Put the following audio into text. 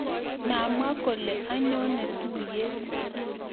Mamwaa kole anyone tuiyet